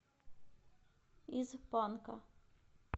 из панка